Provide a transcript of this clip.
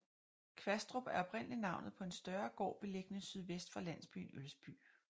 Kvastrup er oprindelig navnet på en større gård beliggende sydvest for landsbyen Ølsby